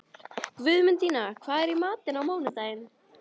Guðmundína, hvað er í matinn á mánudaginn?